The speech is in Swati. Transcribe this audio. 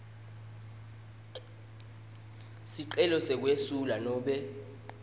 sicelo sekwesula nobe